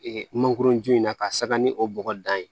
Ee mangoron ju in na ka saba ni o bɔgɔ dan ye